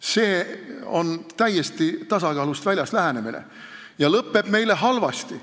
See on täiesti tasakaalust väljas lähenemine ja lõpeb meile halvasti.